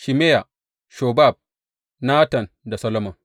Shimeya, Shobab, Natan da Solomon.